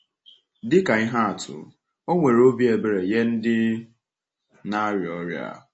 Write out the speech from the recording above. Dị ka ihe atụ, ọ nwere obi ebere nye ndị na-arịa ọrịa.